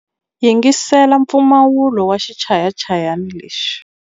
Yingisela mpfumawulo wa xichayachayani lexi.